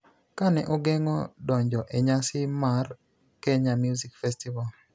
Ka ne ogeng�o donjo e nyasi mar Kenya Music Festival,